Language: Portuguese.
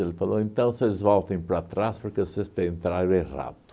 Ele falou, então vocês voltem para trás, porque vocês entraram errado.